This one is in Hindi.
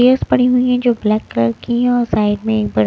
स पड़ी हैं जो ब्लैक कलर की है और साइड में एक बड़--